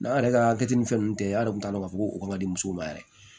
N'an yɛrɛ ka hakɛ ni fɛn nunnu tɛ a de tun t'a dɔn k'a fɔ ko ka di musow ma yɛrɛ